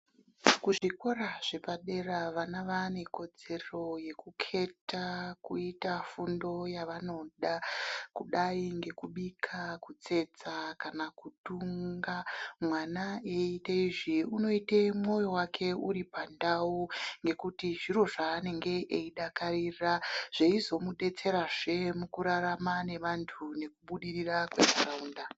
Kuzvikora zvepadera vana vaane kodzero yekukheta kuita fundo yavanoda kudai ngekubika kutsetsa kana kutunga. Mwana eiitezvi unoite mwoyo wake uri pandau ngekuti zviro zvaanenge eidakarira. Zveizomudetserazve mukurarama nevanthu nekubudirira kufunda.